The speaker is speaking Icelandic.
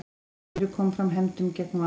Akureyri kom fram hefndum gegn Val